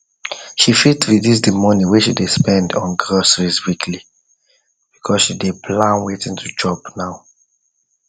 she fit reduce the money whey she dey spend on groceries weekly because she dey plan watin to chop